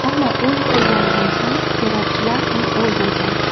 Ammo u yiqilganidan so‘ng terrorchilar uni o‘ldirgan.